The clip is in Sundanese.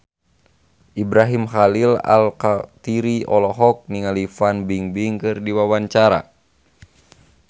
Ibrahim Khalil Alkatiri olohok ningali Fan Bingbing keur diwawancara